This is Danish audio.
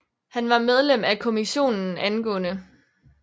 Han var medlem af Kommissionen ang